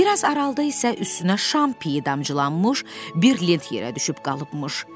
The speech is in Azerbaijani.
Bir az aralıda isə üstünə şamp idamcılanmış bir lint yerə düşüb qalıbmış.